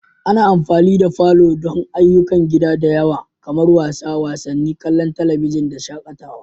Ana amfani da falo don ayyukan gida da yawa kamar wasa wasanni, kallon talabijin da shakatawa.